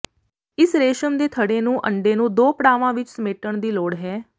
ਇਸ ਰੇਸ਼ਮ ਦੇ ਥੜ੍ਹੇ ਨੂੰ ਅੰਡੇ ਨੂੰ ਦੋ ਪੜਾਵਾਂ ਵਿੱਚ ਸਮੇਟਣ ਦੀ ਲੋੜ ਹੈ